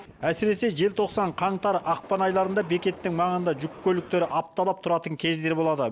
әсіресе желтоқсан қаңтар ақпан айларында бекеттің маңында жүк көліктері апталап тұратын кездері болады